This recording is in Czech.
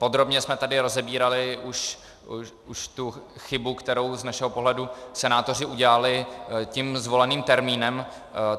Podrobně jsme tady rozebírali už tu chybu, kterou z našeho pohledu senátoři udělali tím zvoleným termínem.